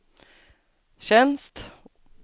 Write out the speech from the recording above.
tjänst